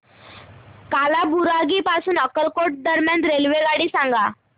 कालाबुरागी पासून अक्कलकोट दरम्यान रेल्वेगाडी सांगा